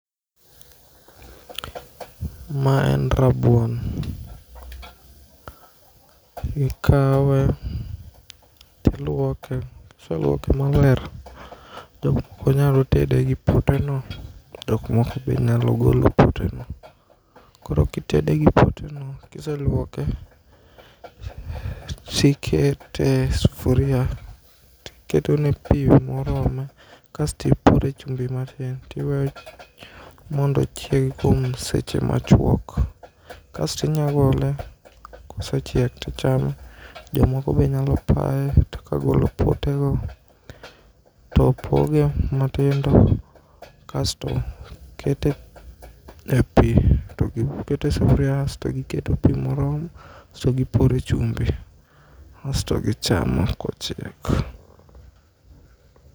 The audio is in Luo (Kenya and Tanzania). Ma en rabuon. Ikawe tiluoke kiseluoke maler to inyalotede gi poteno. Jok moko be nyalo golo poteno koro kitede gipoteno kiseluoke tikete e sufuria tiketone pii morome kastipore chumbi matin tiweyo mondo ochieg kuom seche machuok kastinyagole kosechiek tichame .Jomoko be nyalo paye to kagolo potego topoge matindo kasto kete e pii to gikete sufria kasto giketo pii moro kasto gipore chumbi kasto gichamo kochiek.